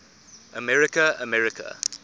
america america